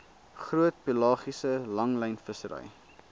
groot pelagiese langlynvissery